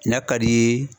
N'a ka d'i ye